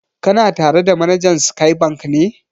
Kana tare da manajan Sky Bank ne?